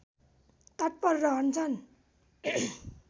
तत्पर रहन्छन्